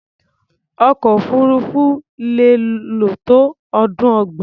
Ọkọ̀-òfurufú lè lò tó ọdún ọgbọ̀n.